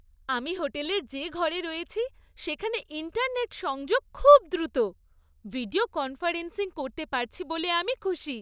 আমি হোটেলের যে ঘরে রয়েছি সেখানে ইন্টারনেট সংযোগ খুব দ্রুত। ভিডিও কনফারেন্সিং করতে পারছি বলে আমি খুশি।